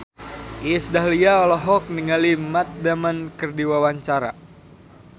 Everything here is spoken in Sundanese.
Iis Dahlia olohok ningali Matt Damon keur diwawancara